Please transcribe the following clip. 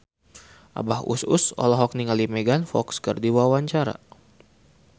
Abah Us Us olohok ningali Megan Fox keur diwawancara